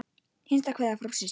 Hinsta kveðja frá systur.